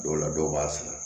Dɔw la dɔw b'a sɛnɛ